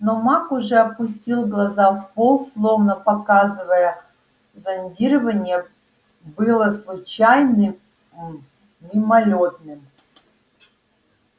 но маг уже опустил глаза в пол словно показывая зондирование было случайным мимолётным